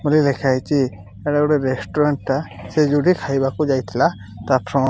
ଗୋଟେ ଲେଖାହେଇଚି ଏଟା ଗୋଟେ ରେଷ୍ଟୁରାଣ୍ଟ୍ ଟା ସେ ଯୋଉଠି ଖାଇବାକୁ ଯାଇଥିଲା ତା ଫ୍ର --